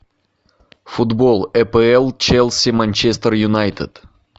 футбол апл челси манчестер юнайтед